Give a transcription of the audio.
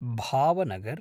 Bhavnagar